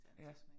Ja